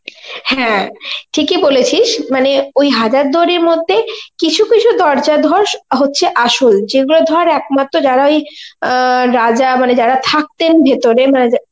হ্যাঁ, ঠিক ই বলেছিস মানে ওই হাজার দুয়ারীর মধ্যে কিছু কিছু দরজা ধর হচ্ছে আসল যে গুলো ধর একমাত্র যারা ওই অ্যাঁ রাজা মানে যারা থাকতেন ভেতরে মানে যা~